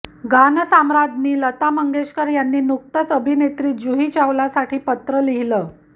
गानसम्राज्ञी लता मंगेशकर यांनी नुकतंच अभिनेत्री जुही चावलासाठी पत्र लिहिलं